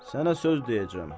Sənə söz deyəcəm.